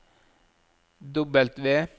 W